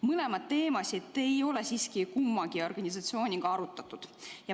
Mõlemat teemat ei ole siiski kummagi organisatsiooniga arutatud.